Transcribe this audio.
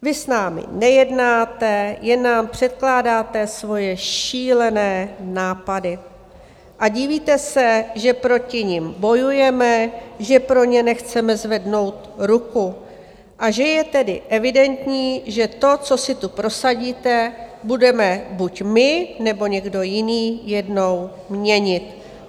Vy s námi nejednáte, jen nám předkládáte svoje šílené nápady a divíte se, že proti nim bojujeme, že pro ně nechceme zvednout ruku a že je tedy evidentní, že to, co si tu prosadíte, budeme buď my, nebo někdo jiný jednou měnit.